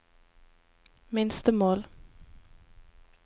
minstemål